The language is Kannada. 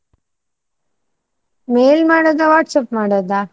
Mail ಮಾಡೋದ? WhatsApp ಮಾಡೋದ?